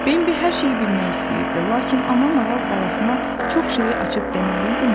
Bembi hər şeyi bilmək istəyirdi, lakin ana maral balasına çox şeyi açıb deməli idimi?